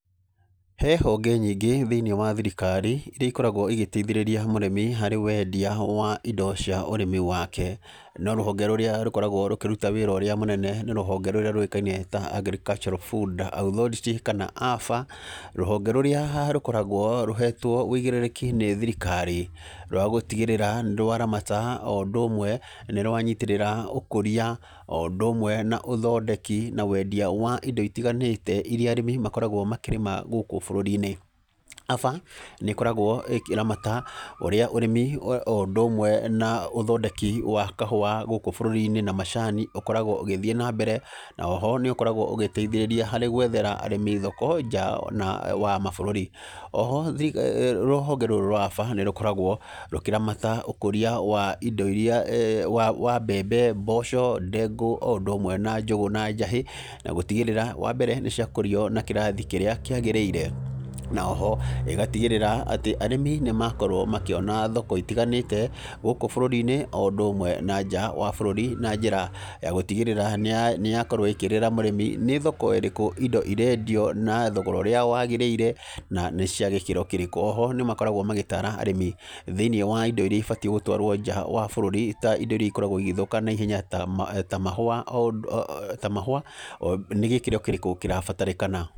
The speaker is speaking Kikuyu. He honge nyingĩ thĩinĩ wa thirikari, iria ikoragwo igĩtaithĩrĩria mũrĩmi harĩ wendia wa indo cia ũrĩmi wake, no rũhonge rũrĩa rũkoragwo rũkĩruta wĩra ũrĩa mũnene nĩ rũhonge rũrĩa rũĩkaine ta Agricultural Food Authority kana AFA, rũhonge rũrĩa rũkoragwo rũhetwo ũigĩrĩrĩki nĩ thirikari rwa gũtigĩrĩra nĩrwaramata, oũndũ ũmwe nĩrwanyitĩrĩra ũkũria, oũndũ ũmwe na ũthondeki na wendia wa indo itiganĩte iria arĩmi makoragwo makĩrĩma gũkũ bũrũri-inĩ. AFA nĩ ĩkoragwo ĩkĩramata ũrĩa ũrĩmi oũndũ ũmwe na ũthondeki wa kahũa gũkũ bũrũri-inĩ na macani ũkoragwo ũgĩthiĩ nambere, na oho nĩũkoragwo ũgĩtaithĩrĩria harĩ gwethera arĩmi thoko nja wa mabũrũri. Oho rũhonge rũrũ rwa AFA nĩrũkoragwo rũkĩramata ũkũria wa indo iria, wa mbembe, mboco, ndengũ, oũndũ ũmwe na njũgũ na njahĩ, na gũtigĩrĩra, wambere, nĩciakũrio na kĩrathi kĩrĩa kĩagĩrĩire, na oho ĩgatigĩrĩra atĩ arĩmi nĩmakorwo makĩona thoko itiganĩte, gũkũkũ bũrũri-inĩ oũndũ ũmwe na nja wa bũrũri na njĩra ya gũtigĩrĩra nĩyakorwo ĩkĩĩrĩra mũrĩmi nĩ thoko ĩrĩkũ indo irendio na thogora ũrĩa wagĩrĩire na nĩcia gĩkĩro kĩrĩkũ. Oho nĩmakoragwo magĩtara arĩmi thĩinĩ wa indo iria ibatiĩ gũtwarwo nja wa bũrũri ta indo iria ikoragwo igĩthũka naihenya ta mahũa, nĩ gĩkĩro kĩrĩkũ kĩrabatarĩkana.